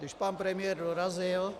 Když pan premiér dorazil...